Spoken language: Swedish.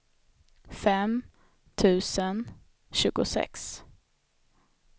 fem tusen tjugosex